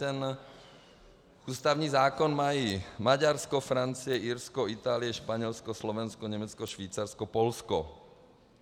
Ten ústavní zákon mají Maďarsko, Francie, Irsko, Itálie, Španělsko, Slovensko, Německo, Švýcarsko, Polsko.